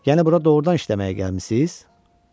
Yəni bura doğurdan işləməyə gəlmisiz?